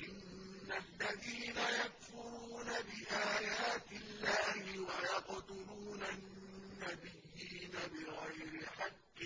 إِنَّ الَّذِينَ يَكْفُرُونَ بِآيَاتِ اللَّهِ وَيَقْتُلُونَ النَّبِيِّينَ بِغَيْرِ حَقٍّ